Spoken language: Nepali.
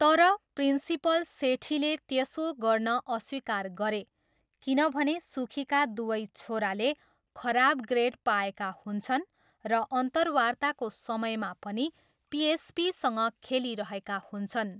तर, प्रिन्सिपल सेठीले त्यसो गर्न अस्वीकार गरे किनभने सुखीका दुवै छोराले खराब ग्रेड पाएका हुन्छन् र अन्तर्वार्ताको समयमा पनि पिएसपीसँग खेलिरहेका हुन्छन्।